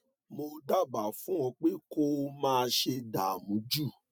mo dábàá fún ọ pé kó o má ṣe dààmú jù